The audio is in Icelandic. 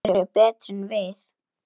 Þeir eru betri en við.